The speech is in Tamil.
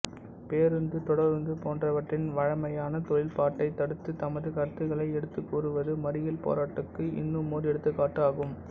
பேருந்து தொடருந்து போன்றவற்றின் வழைமையான தொழில்பாட்டை தடுத்து தமது கருத்துக்களை எடுத்துக்கூறுவது மறியல் போராட்டத்துக்கு இன்னுமோர் எடுத்துக்காட்டு ஆகும்